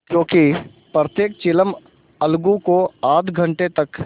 क्योंकि प्रत्येक चिलम अलगू को आध घंटे तक